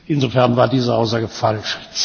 Insofern war diese Aussage falsch.